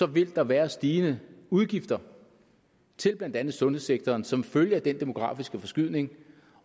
vil der være stigende udgifter til blandt andet sundhedssektoren som følge af den demografiske forskydning